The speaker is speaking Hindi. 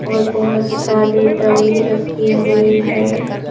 और बहुत सारी डमी रखी हुई है.